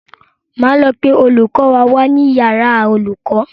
Máa lọ pe olùkọ́ wa wá ní yàrá àwọn olùkọ́.